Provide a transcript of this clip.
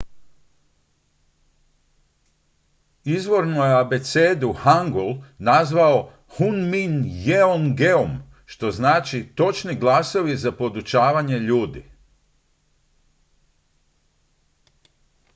"izvorno je abecedu hangul nazvao hunmin jeongeum što znači "točni glasovi za podučavanje ljudi"".